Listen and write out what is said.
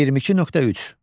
22.3.